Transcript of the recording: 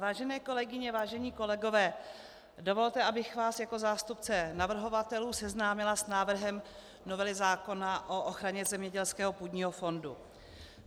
Vážené kolegyně, vážení kolegové, dovolte, abych vás jako zástupce navrhovatelů seznámila s návrhem novely zákona o ochraně zemědělského půdního fondu.